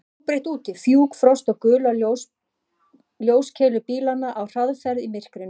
Allt var óbreytt úti: fjúk, frost og gular ljóskeilur bílanna á hraðferð í myrkrinu.